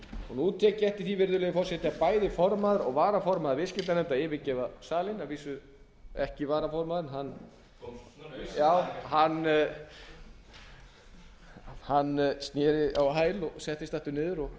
nú tek ég eftir því virðulegi forseti að bæði formaður og varaformaður viðskiptanefndar yfirgefa salinn að vísu ekki varaformaðurinn hann sneri á hæl og settist aftur niður og